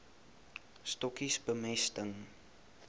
stokkies bemesting